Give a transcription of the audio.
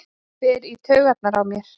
Fer í taugarnar á mér.